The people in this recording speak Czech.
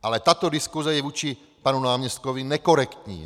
Ale tato diskuse je vůči panu náměstkovi nekorektní.